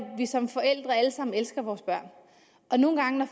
vi som forældre alle sammen elsker vores børn nogle gange